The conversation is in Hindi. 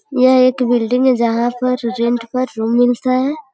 यह एक बिल्डिंग है जहां पर रेंट पर रूम मिलता है।